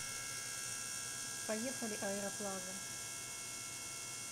поехали аэроплаза